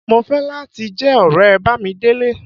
Mo ń fẹ́ láti jẹ́ ọ̀rẹ́ Bámidélé